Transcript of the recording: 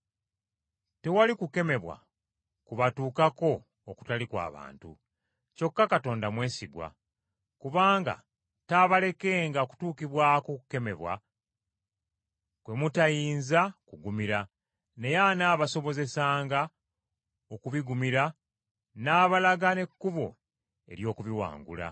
Tewali kukemebwa kubatuukako okutali kwa bantu; kyokka Katonda mwesigwa, kubanga taabalekenga kutuukibwako kukemebwa kwe mutayinza kugumira, naye anaabasobozesanga okubigumira, n’abalaga n’ekkubo ery’okubiwangula.